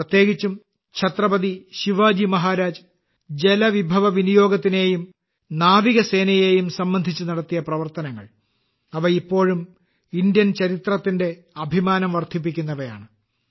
പ്രത്യേകിച്ചും ഛത്രപതി ശിവാജി മഹാരാജ് ജലവിഭവ വിനിയോഗത്തിനെയും നാവികസേനയെയും സംബന്ധിച്ച് നടത്തിയ പ്രവർത്തനങ്ങൾ അവ ഇപ്പോഴും ഇന്ത്യൻ ചരിത്രത്തിന്റെ അഭിമാനം വർദ്ധിപ്പിക്കുന്നവയാണ്